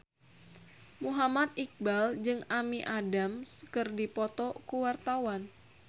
Muhammad Iqbal jeung Amy Adams keur dipoto ku wartawan